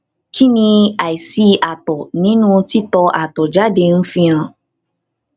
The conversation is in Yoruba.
kí ni aisi atọ ninu titọ atọ jáde ń fi hàn